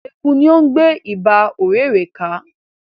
Eku ni o ń gbe Iba ọ̀rẹ̀rẹ̀ ka